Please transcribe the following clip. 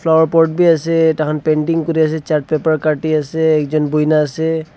flower pot b ase takan painting kuri ase chart paper katti ase ekjun bui na ase.